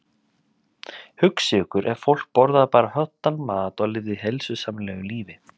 Hugsið ykkur ef fólk borðaði bara hollan mat og lifði heilsusamlegu lífi.